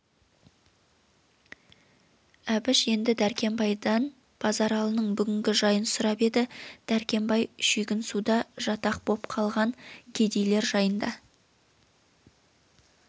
әбіш енді дәркембайдан базаралының бүгінгі жайын сұрап еді дәркембай шүйгінсуда жатақ боп қалған кедейлер жайын да